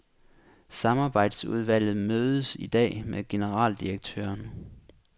Samarbejdsudvalget mødes i dag med generaldirektøren.